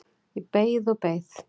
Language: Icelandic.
Ég beið og beið.